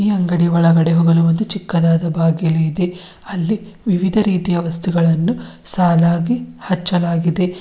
ಈ ಅಂಗಡಿಯ ಒಳಗಡೆ ಹೋಗಲು ಒಂದು ಚಿಕ್ಕದಾದ ಬಾಗಿಲು ಇದೆ ಅಲ್ಲಿ ವಿವಿಧ ರೀತಿಯ ವಸ್ತುಗಳನ್ನು ಸಾಲಾಗಿ ಹಚ್ಚಲಾಗಿದೆ.